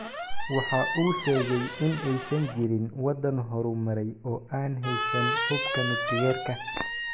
Waxa uu sheegay in aysan jirin wadan horumaray oo aan heysan hubka Nukliyeerka.